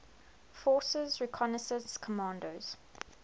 forces reconnaissance commandos